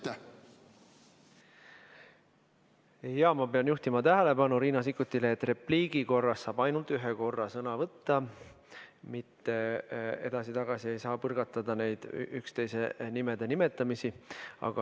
Ma pean juhtima Riina Sikkuti tähelepanu sellele, et repliigi korras saab ainult ühe korra sõna võtta, edasi-tagasi ei saa põrgatada üksteise nimede nimetamist.